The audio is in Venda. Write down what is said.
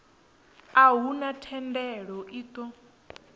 a huna thendelo i ṱo